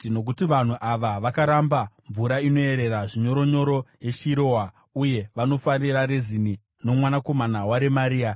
“Nokuti vanhu ava vakaramba mvura inoyerera zvinyoronyoro yeShiroa, uye vanofarira Rezini nomwanakomana waRemaria,